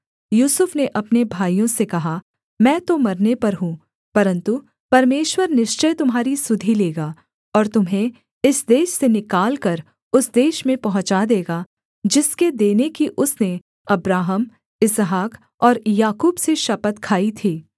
यूसुफ ने अपने भाइयों से कहा मैं तो मरने पर हूँ परन्तु परमेश्वर निश्चय तुम्हारी सुधि लेगा और तुम्हें इस देश से निकालकर उस देश में पहुँचा देगा जिसके देने की उसने अब्राहम इसहाक और याकूब से शपथ खाई थी